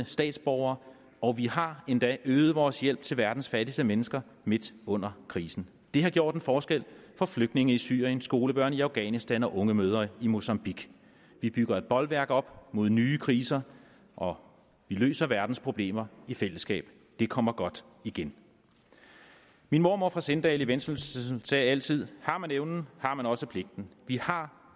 statsborgerskab og vi har endda øget vores hjælp til verdens fattigste mennesker midt under krisen det har gjort en forskel for flygtninge i syrien skolebørn i afghanistan og unge mødre i mozambique vi bygger et bolværk op mod nye kriser og vi løser verdens problemer i fællesskab det kommer godt igen min mormor fra sindal i vendsyssel sagde altid har man evnen har man også pligten vi har